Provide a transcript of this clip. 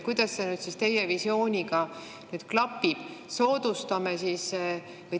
Kuidas see nüüd siis teie visiooniga klapib?